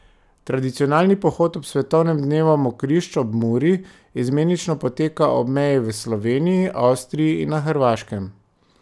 Tradicionalni pohod ob svetovnem dnevu mokrišč ob Muri izmenično poteka ob meji v Sloveniji, Avstriji in na Hrvaškem.